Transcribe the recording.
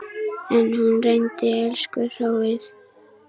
En hún reyndi, elsku hróið.